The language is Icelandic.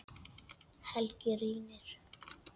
Helgi rýnir.